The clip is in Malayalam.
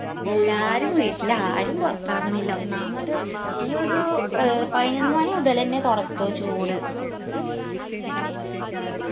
എല്ലാരും വീട്ടിലാ ആരും പൊറത്തെറങ്ങണില്ല ഒന്നാമത് ഈ ഒരു ഏർ പായിനൊന്ന് മണി മുതലെന്നെ തൊടക്കം ചൂട്